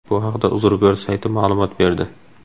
Bu haqda UzReport sayti ma’lumot berdi .